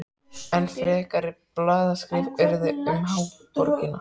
Enn frekari blaðaskrif urðu um háborgina.